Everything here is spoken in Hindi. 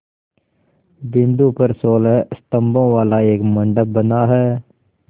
बिंदु पर सोलह स्तंभों वाला एक मंडप बना है